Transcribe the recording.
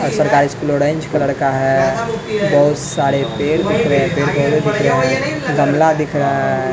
सरकारी school orange colour का है बहुत सारे पेर दिख रहे हैं दिख रहे हैं गमला दिख रहा है --